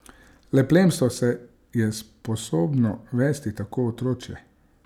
Le plemstvo se je sposobno vesti tako otročje.